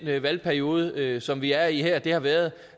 valgperiode som vi er i her har været